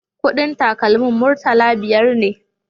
Kudin takalmin murtala biyar ne